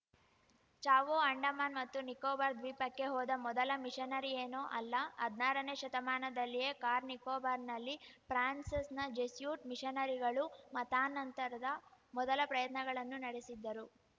ಚಾವು ಅಂಡಮಾನ್‌ ಮತ್ತು ನಿಕೋಬಾರ್‌ ದ್ವೀಪಕ್ಕೆ ಹೋದ ಮೊದಲ ಮಿಷನರಿಯೇನೂ ಅಲ್ಲ ಹದ್ನಾರನೇ ಶತಮಾನದಲ್ಲಿಯೇ ಕಾರ್ ನಿಕೋಬಾರ್‌ನಲ್ಲಿ ಫ್ರಾನ್ಸ್‌ನ ಜೆಸ್ಯುಟ್‌ ಮಿಷನರಿಗಳು ಮತಾನಂತರದ ಮೊದಲ ಪ್ರಯತ್ನಗಳನ್ನು ನಡೆಸಿದ್ದರು